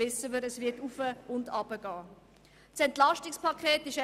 es wird hinauf- und hinuntergehen.